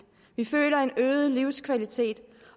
vi føler en øget livskvalitet